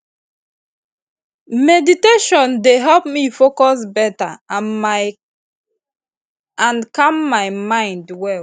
meditation dey help me focus better and calm my mind well